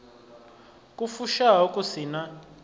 ku fushaho ku si na